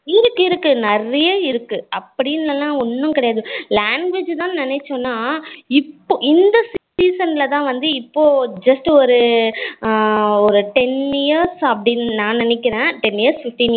இருக்கு இருக்கு நிறைய இருக்கு அப்படினுலாம் ஒண்ணும் கெடையாது language தான் நினைச்சனா இப்போ இந்த season ல தான் வந்து இப்போ just ஒரு ஒரு ten years அப்படினு நான் நினைக்குறேன் ten years fifteen years